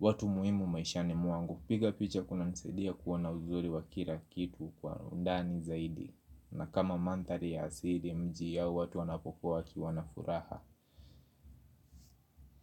watu muhimu maishani mwangu. Piga picha kunanisaidia kuona uzuri wa kila kitu kwa undani zaidi. Na kama mandhari ya asili, mji yao watu wanapokuwa wakiwa na furaha.